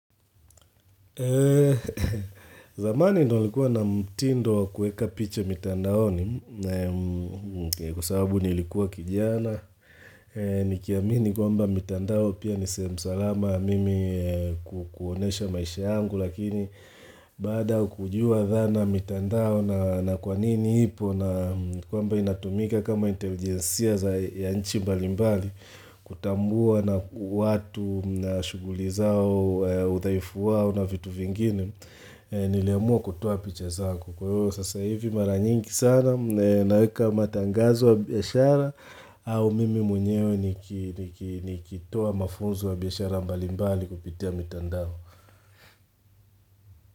Zamani nilikuwa na mtindo wa kuweka picha mitandao ni kwa sabu nilikuwa kijana Nikiamini kwa mba mitandao pia ni sehem salama mimi kukunesha maisha yangu Lakini baada kujua dhana mitandao na kwa nini ipo na kwamba inatumika kama intelijensia za ya nchi mbali mbali kutambua na watu na shughuli zao, udhaifu wao na vitu vingine Niliamua kutoa picha zako Kuyo sasa hivi mara nyingi sana naeka matangazo wa biashara au mimi mwenyewe nikitoa mafunzo wa biashara mbali mbali kupitia mitandao.